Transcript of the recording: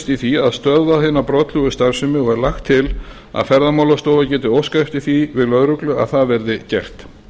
í því að stöðva hina brotlegu starfsemi og er lagt til að ferðamálastofa geti óskað eftir því við lögreglu að það verði gert